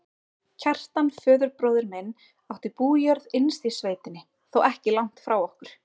Kjartan, föðurbróðir minn, átti bújörð innst í sveitinni, þó ekki langt frá okkur.